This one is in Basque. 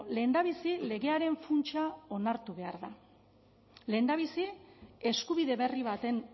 lehendabizi legearen funtsa onartu behar da lehendabizi eskubide berri baten